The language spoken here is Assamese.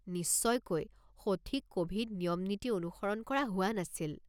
নিশ্চয়কৈ সঠিক ক'ভিড নিয়ম-নীতি অনুসৰণ কৰা হোৱা নাছিল।